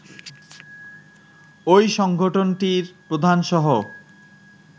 ঐ সংগঠনটির প্রধানসহ